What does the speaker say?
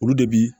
Olu de bi